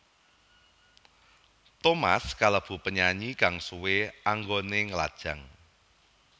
Thomas kalebu penyanyi kang suwé anggoné nglajang